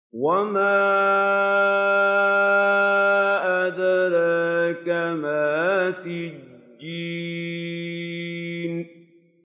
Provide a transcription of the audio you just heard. وَمَا أَدْرَاكَ مَا سِجِّينٌ